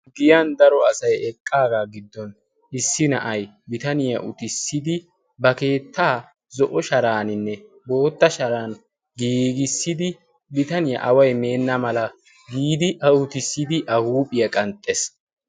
giyan daro asay eqqaagaa giddon issi na'ay bitaniyaa utissidi ba keettaa zo'o sharaaninne bootta sharan giigissidi bitaniyaa away meenna mala giidi a utissidi a huuphiyaa qanxxees